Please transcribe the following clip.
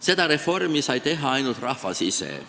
Seda reformi sai teha ainult rahvas ise.